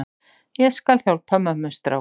Ég skal hjálpa mömmustrák.